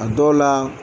A dɔw la